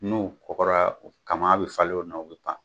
N'u kɔgɔra kama bɛ falen u la u bɛ pan